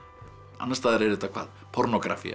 annars staðar er þetta hvað